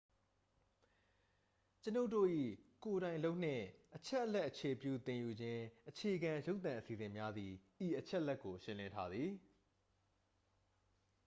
ကျွန်ုပ်တို့၏ ကိုယ်တိုင်လုပ်နှင့် အချက်အလက် အခြေပြု သင်ယူခြင်းအခြေခံ ရုပ်သံအစီအစဉ်များသည် ဤအချက်ကို ရှင်းလင်းထားသည်